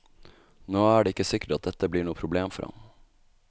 Nå er det ikke sikkert at dette blir noe problem for ham.